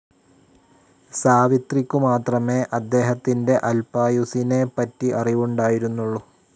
സാവിത്രിക്കുമാത്രമേ അദ്ദേഹത്തിൻ്റെ അൽപായുസ്സിനെ പറ്റി അറിവുണ്ടായിരുന്നുള്ളൂ.